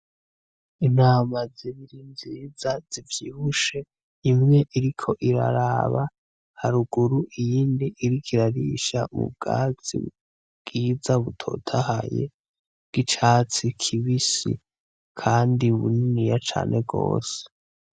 Intama zibiri nziza zivyibushe, imwe iriko iraraba haruguru iyindi iriko irarisha ubwatsi bwiza butotahaye bw'icatsi kibisi kandi buniniya cane gose.